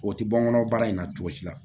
O tɛ bɔ n kɔnɔ baara in na cogo si la